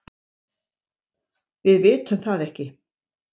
Við vitum það ekki.